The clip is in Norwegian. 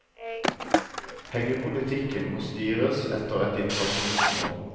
Pengepolitikken må styres etter et inflasjonsmål.